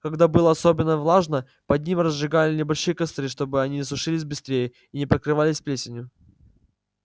когда было особенно влажно под ними разжигали небольшие костры чтобы они сушились быстрее и не покрывались плесенью